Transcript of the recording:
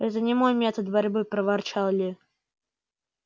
это не мой метод борьбы проворчал ли